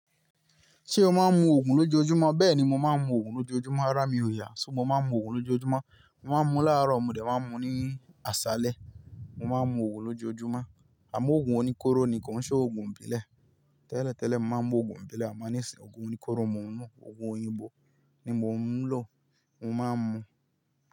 Ṣé o máa ń mu òògùn lójoojúmọ́? Bẹ́ẹ̀ni, mo máa ń mu òògùn lójoojúmọ́, árá mi ò yà. So mo máa ń mu òògùn lójoojúmọ́? Mo máa ń mu láàárọ̀, mo dẹ̀ máa ń mu ní àṣálẹ́. Mo máa ń mu òògùn lójoojúmọ́. Amo òògùn oníkóró ni, kò ń ṣe òògùn ìbílẹ̀. Tẹ́lẹ̀ tẹ́lẹ̀ mo máa ń mú òògùn ìbílẹ̀, àmo ní sin òògùn oníkóró, mo ń mú òògùn òyìnbó ni mò ń lọ, mo máa ń mu.